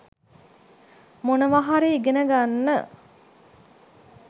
මොනවා හරි ඉගෙන ගන්න